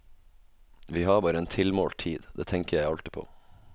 Vi har bare en tilmålt tid, det tenker jeg alltid på.